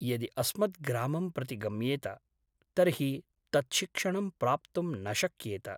यदि अस्मद्ग्रामं प्रति गम्येत तर्हि तत् शिक्षणं प्राप्तुं न शक्येत ।